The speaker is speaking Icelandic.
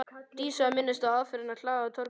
Dísu að minnast á aðfarirnar á hlaðinu í Torfgarði.